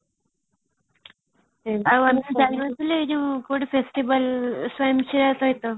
ଏ ଯୋଉ କୋଉଠି festival